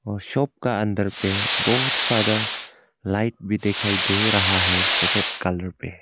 और शॉप का अंदर पे बहुत सारा लाइट भी दिखाई दे रहा है सेकंड कलर पे।